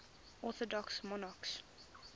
orthodox monarchs